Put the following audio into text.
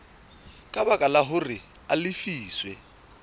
ka baka hore a lefiswe